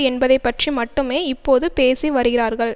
என்பதை பற்றி மட்டுமே இப்போது பேசிவருகிறார்கள்